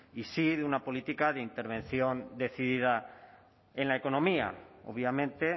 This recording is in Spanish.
y sí de una política de intervención decidida en la economía obviamente